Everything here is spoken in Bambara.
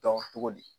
Dɔn cogo di